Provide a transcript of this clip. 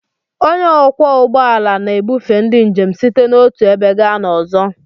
Onye ọkwọ ụgbọ ala na-ebufe ndị njem site n'otu ebe gaa n'ọzọ.